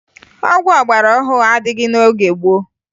Ọgwụ ọgbarọhụrụ adịghị n'oge gboo